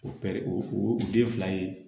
O pɛrɛn o den fila ye